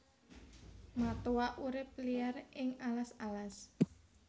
Matoa urip liar ing alas alas